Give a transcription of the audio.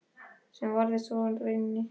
Sem varð svo raunin.